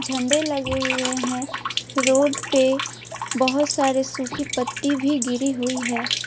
झंडे लगे हुए हैं रोड पे बहुत सारे सूखी पत्ती भी गिरी हुई है।